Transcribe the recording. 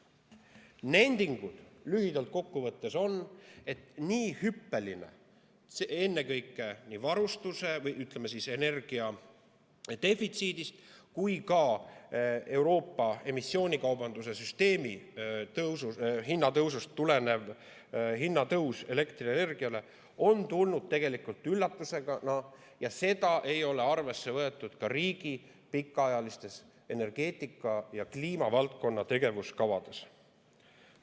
Nending lühidalt kokku võttes on see, et nii hüppeline, ennekõike nii energiadefitsiidist kui ka Euroopa emissioonikaubanduse süsteemi hinnatõusust tulenev elektrienergia hinna tõus on tulnud tegelikult üllatusena ja seda ei ole arvesse võetud ka riigi pikaajalistes energeetika ja kliimavaldkonna tegevuskavades.